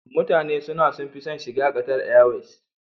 Mutane suna sun fi son shiga Qatar airways